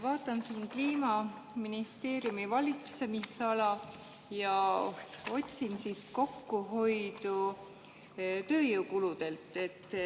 Vaatan siin Kliimaministeeriumi valitsemisala ja otsin siit kokkuhoidu tööjõukuludelt.